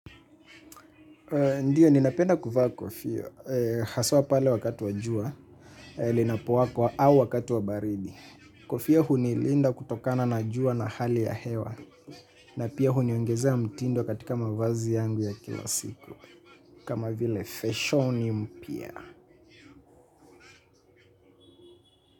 Ndiyo, ninapenda kuvaa kofia, haswa pale wakati wa jua, linapowala ama wakati wa wa baridi. Kofia hunilinda kutokana na jua na hali ya hewa, na pia huniongezea mtindo katika mavazi yangu ya kila siku, kama vile fasheni mpya.